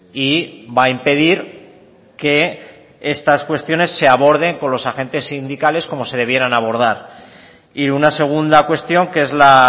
y va a impedir que estas cuestiones se aborden con los agentes sindicales como se debieran abordar y una segunda cuestión que es la